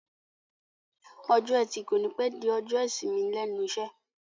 Ọjọ́ ẹtì kònípẹ́ di ọjọ́ ìsinmi lẹ́nu iṣẹ́